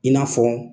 I n'a fɔ